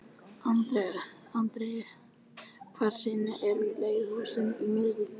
Andrea, hvaða sýningar eru í leikhúsinu á miðvikudaginn?